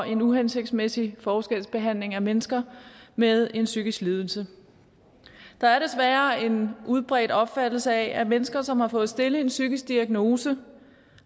en uhensigtsmæssig forskelsbehandling af mennesker med en psykisk lidelse der er desværre en udbredt opfattelse af at mennesker som har fået stillet en psykisk diagnose